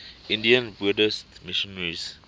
indian buddhist missionaries